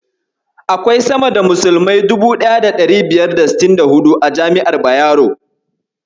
Akwai sama da musulmai 1564 a jami'ar Bayero.